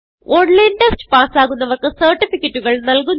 online test പാസ്സാകുന്നവർക്ക് സർട്ടിഫികറ്റുകൾ നല്കുന്നു